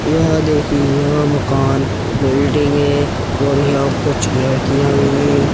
यह देखिये यह मकान बिल्डिंगे और यह कुछ लड़कियाँ भी हैं।